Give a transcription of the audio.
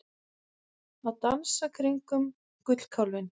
Að dansa kringum gullkálfinn